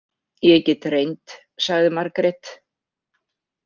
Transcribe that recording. Ég get reynt, sagði Margrét.